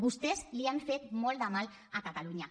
vostès li han fet molt de mal a catalunya